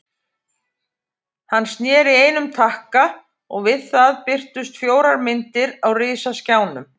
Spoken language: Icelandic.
Hann sneri einum takka og við það birtust fjórar myndir á risaskjánum.